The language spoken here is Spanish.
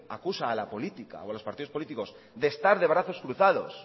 acusa a la política o a los partidos políticos de estar de brazos cruzados